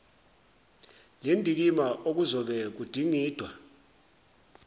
lendikimba okuzobe kudingidwa